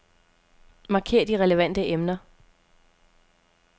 Marker de relevante emner.